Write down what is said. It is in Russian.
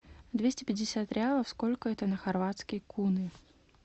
двести пятьдесят реалов сколько это на хорватские куны